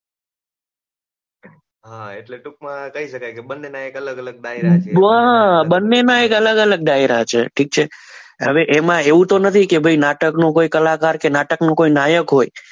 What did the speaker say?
હા એટલે ટૂંકમાં કહી શકાય કે બંનેના કંઈક અલગ અલગ ફાયદા છે બરાબર બંનેના અલગ અલગ ડાયરા છે ઠીક છે હવે એમાં એવું તો નથી કે ભાઈ નાટકનું કોઈ કલાકાર કે નાટકનો કોઈ નાયક હોય